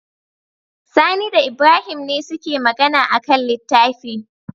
Sani da Ibrahim ne suke Magana akan littafi